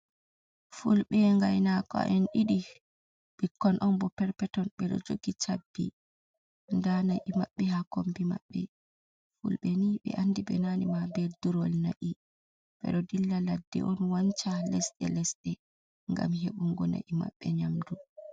Fulɓe ngainaako en ɗiɗi, ɓikkon on bo pet-peton, ɓe ɗo jogi chabbi, ndaa na'i maɓɓe ha kombi maɓɓe. Fulɓe ni ɓe andi ɓe naane ma be durngol na'i, ɓe ɗo dilla ladde on wancha lesɗe-lesɗe ngam heɓungo na'i maɓɓe nyamdu.